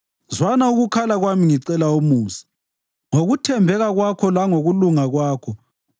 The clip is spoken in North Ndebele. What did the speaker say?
Oh Thixo, zwana umkhuleko wami, zwana ukukhala kwami ngicela umusa; ngokuthembeka kwakho langokulunga kwakho woza uzongiphumuza.